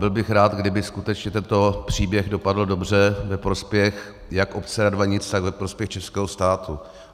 Byl bych rád, kdyby skutečně tento příběh dopadl dobře ve prospěch jak obce Radvanice, tak ve prospěch českého státu.